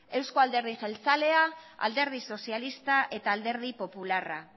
eusko alderdi jeltzalea alderdi sozialista eta alderdi popularra